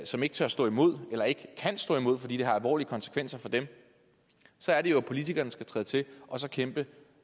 som ikke tør stå mod eller ikke kan stå imod fordi det har alvorlige konsekvenser for dem så er det jo at politikerne skal træde til og så kæmpe